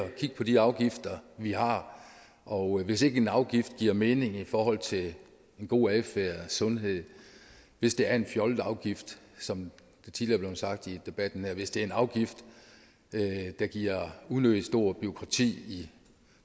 at kigge på de afgifter vi har og hvis ikke en afgift giver mening i forhold til en god adfærd sundhed hvis det er en fjollet afgift som det tidligere er blevet sagt i debatten hvis det er en afgift der giver unødig stort bureaukrati